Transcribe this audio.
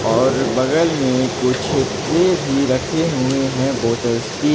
और बगल में कुछ ट्रे भी रखे हुए हैं बॉटल्स की।